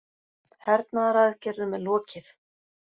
Hernaðaraðgerðum er lokið